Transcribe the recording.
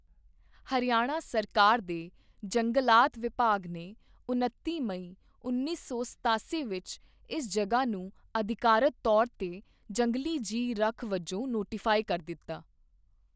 ਹਰਿਆਣਾ ਸਰਕਾਰ ਦੇ ਜੰਗਲਾਤ ਵਿਭਾਗ ਨੇ ਉਨੱਤੀ ਮਈ ਉੱਨੀ ਸੌ ਸਤਾਸੀ ਵਿੱਚ ਇਸ ਜਗ੍ਹਾ ਨੂੰ ਅਧਿਕਾਰਤ ਤੌਰ 'ਤੇ ਜੰਗਲੀ ਜੀਵ ਰੱਖ ਵਜੋਂ ਨੋਟੀਫਾਈ ਕਰ ਦਿੱਤਾ।